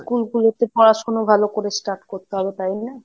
school গুলোতে পড়াশুনা ভালো করে start করতে হবে, তাই না?